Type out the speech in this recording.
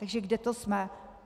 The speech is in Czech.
Takže kde to jsme?